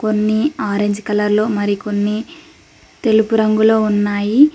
కొన్ని ఆరంజ్ కలర్లో మరికొన్ని తెలుపు రంగులో ఉన్నాయి.